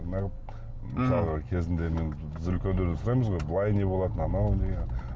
неғып мысалға кезіңде мен біз үлкендерден сұраймыз ғой былай не болады мынау не